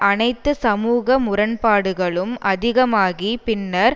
அனைத்து சமூக முரண்பாடுகளும் அதிகமாகி பின்னர்